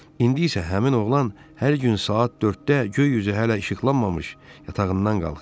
İndi isə həmin oğlan hər gün saat 4-də göy üzü hələ işıqlanmamış yatağından qalxır.